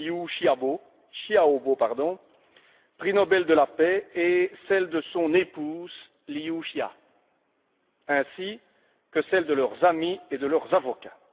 Liu Xiaobo, prix Nobel de la paix, et celle de son épouse, Liu Xia, ainsi que celle de leurs amis et de leurs avocats.